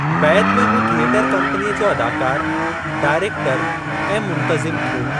बैदि में हू थियटर कम्पनीअ जो अदाकारु, डाइरेक्टरु ऐं मुंतज़िम थियो।